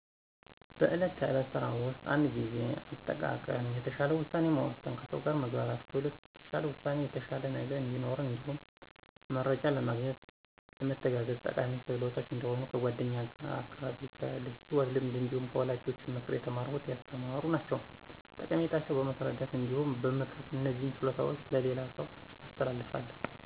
በዕለት ተዕለት ስራ ውስጥ እንደ ጊዜ አጠቃቀም፣ የተሻለ ውሳኔ መወሰን፣ ከሰው ጋር መግባባት ክህሎቶች የተሻለ ውጤት የተሻለ ነገ እዲኖረን እንዲሁም መረጃ ለማግኘት ለመተጋገዝ ጠቃሚ ክህሎቶች እንደሆኑ ከ ጓደኛ ከ አካባቢየ ከ ሂወት ልምድ እንዲሁም ከ ወላጆቼ ምክር የተማረኩት ያስተማሩ ናቸዉ። ጠቀሜታቸው በማስረዳት እንዲሁም በ ምክር እነዚህን ችሎታዎች ለሌላ ሰው አስተላልፋለሁ።